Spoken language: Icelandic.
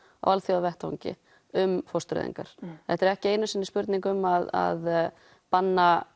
á alþjóðavettvangi um fóstureyðingar þetta er ekki einu sinni spurning um að banna